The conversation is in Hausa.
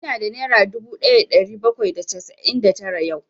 Ina da nera dubu ɗaya da ɗari bakwai da casa'in da tara yau